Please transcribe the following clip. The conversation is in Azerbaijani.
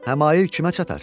həmail kimə çatar?